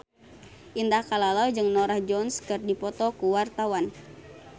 Indah Kalalo jeung Norah Jones keur dipoto ku wartawan